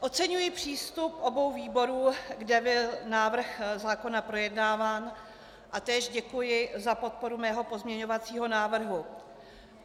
Oceňuji přístup obou výborů, kde byl návrh zákona projednáván, a též děkuji za podporu mého pozměňovacího návrhu.